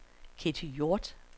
Ketty Hjort